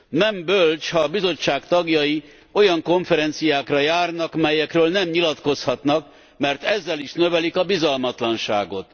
Nem bölcs, ha a Bizottság tagjai olyan konferenciákra járnak, melyekről nem nyilatkozhatnak, mert ezzel is növelik a bizalmatlanságot.